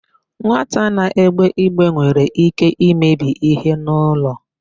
Nwata na-egbe igbe nwere íké imebi íhé n'ụlọ.